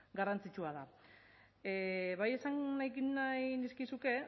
garrantzitsua da bai esan nahi nizkizuke